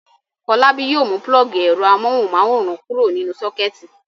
Fọlábí yóò pulọ́ọ́gì ẹ̀rọ amóhùmáwòhán kúrò nínú sọ́kẹ́tì.